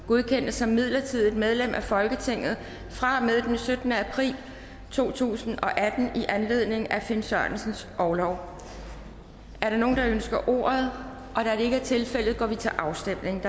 godkendes som midlertidigt medlem af folketinget fra og med den syttende april to tusind og atten i anledning af finn sørensens orlov er der nogen der ønsker ordet da det ikke er tilfældet går vi til afstemning